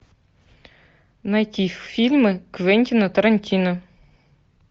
найти фильмы квентина тарантино